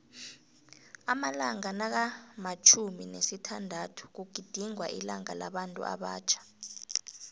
amalanga nakamtjhumi nesithandathu kugidingwa ilanga labantuabatjha